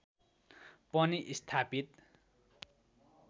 पनि स्थापित